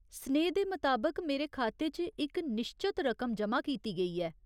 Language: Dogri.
सनेहे दे मताबक, मेरे खाते च इक निश्चत रकम ज'मा कीती गेई ऐ।